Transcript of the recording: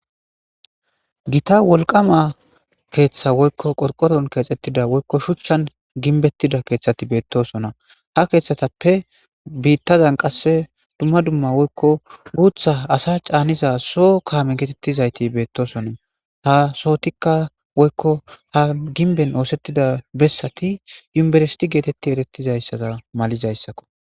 gita wolqama keeththa woykko qorqoron keexxettida woykko shuchchan ginbettida keeththati beettosona ha keeththatappe biittazan qasse dumma dumma woykko guutha asa caaniza so kaame geetettizayti beettosonna ha sootikka woykko ha ginben oosettida bessati yumbersiti geetetti erettizayssata malizayssakko